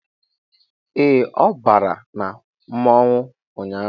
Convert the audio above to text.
Ee, ọ bàrà na mmọnwụ ụnyaahụ